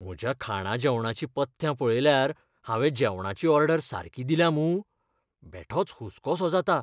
म्हज्या खाणाजेवणाचीं पथ्यां पळयल्यार हावें जेवणाची ऑर्डर सारकी दिल्या मूं? बेठोच हुस्कोसो जाता.